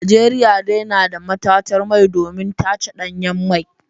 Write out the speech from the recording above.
Najeriya dai na da matatar mai domin tace danyen mai.